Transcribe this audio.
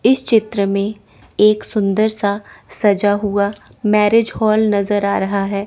इस चित्र में एक सुंदर सा सजा हुआ मैरेज हॉल नजर आ रहा है।